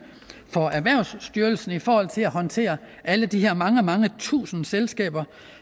for erhvervsstyrelsen i forhold til at håndtere alle de her mange mange tusinde selskaber